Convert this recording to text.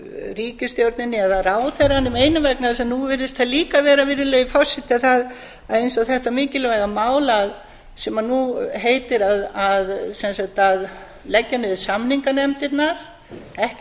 ríkisstjórninni eða ráðherranum einum vegna þess að nú virðist það líka vera virðulegi forseti eins og þetta mikilvæga mál sem nú heitir sem sagt að leggja niður samninganefndirnar ekki